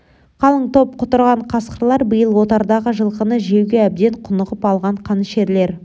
қалың топ құтырған қасқырлар биыл отардағы жылқыны жеуге әбден құнығып алған қанішерлер